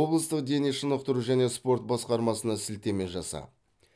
облыстық дене шынықтыру және спорт басқармасына сілтеме жасап